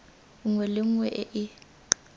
nngwe le nngwe e e